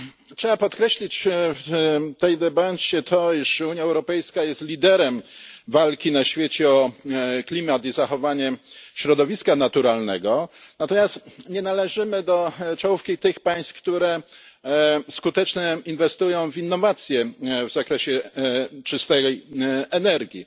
Trzeba podkreślić w tej debacie to, iż Unia Europejska jest liderem walki na świecie o klimat i zachowanie środowiska naturalnego, natomiast nie należymy do czołówki tych państw, które skutecznie inwestują w innowacje w zakresie czystej energii.